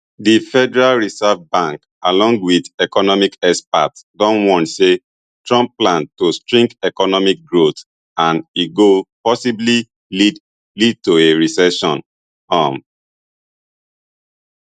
di federal reserve bank along wit economic experts don warn say trump plan go shrink economic growth and e go possibly lead lead to a recession um